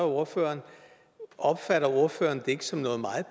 ordføreren opfatter ordføreren det ikke som noget meget